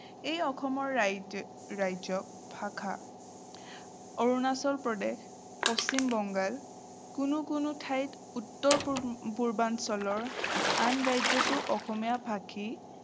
এই অসমৰ ৰাজ্য ৰাজ্য ভাষা। অৰুণাচল প্ৰদেশ, পশ্চিম বেংগল কোনো কোনো ঠাইত উত্তৰপূৰ্বাঞ্চলৰ আন ৰাজ্যতো অসমীয়া ভাষী